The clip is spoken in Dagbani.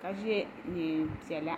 ka ye niɛn'piɛla.